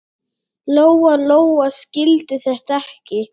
Lóa-Lóa skildi þetta ekki.